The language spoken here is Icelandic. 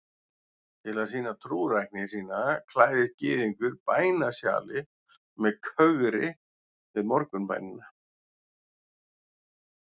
Til að sýna trúrækni sína klæðist gyðingur bænasjali með kögri við morgunbænina.